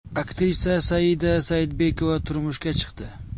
Aktrisa Saida Saidbekova turmushga chiqdi .